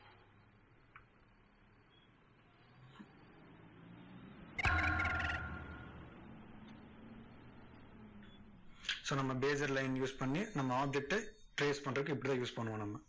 so நம்ம bezier line use பண்ணி, நம்ம object ட trace பண்றதுக்கு இப்படித்தான் use பண்ணுவோம் நம்ம.